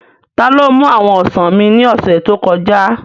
Taló mú àwọn ọsàn mi ní ọ̀sẹ̀ tó kọjá?